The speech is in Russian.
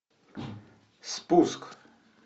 спуск